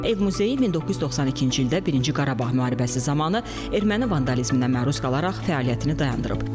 Ev muzeyi 1992-ci ildə birinci Qarabağ müharibəsi zamanı erməni vandalizminə məruz qalaraq fəaliyyətini dayandırıb.